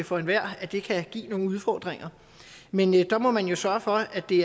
for enhver at det kan give nogle udfordringer men der må man jo sørge for at det